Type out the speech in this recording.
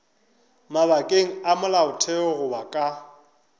mabakeng a molaotheo goba ka